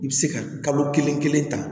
I bɛ se ka kalo kelen kelen ta